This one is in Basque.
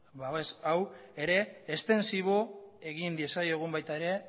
babes hau ere estentsibo egin diezaiogun baita ere